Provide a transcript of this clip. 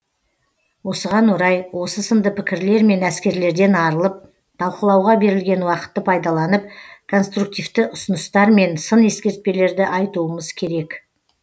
осыған орай осы сынды пікірлер мен әскерлерден арылып талқылауға берілген уақытты пайдаланып конструктивті ұсыныстар мен сын ескертпелерді айтуымыз керек